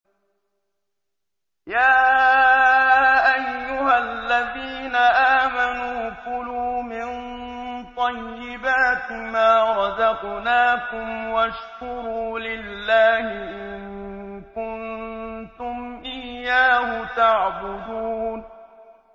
يَا أَيُّهَا الَّذِينَ آمَنُوا كُلُوا مِن طَيِّبَاتِ مَا رَزَقْنَاكُمْ وَاشْكُرُوا لِلَّهِ إِن كُنتُمْ إِيَّاهُ تَعْبُدُونَ